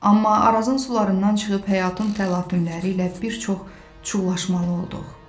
Amma Arazın sularından çıxıb həyatın təlatümləri ilə bir çox çulğaşmalı olduq.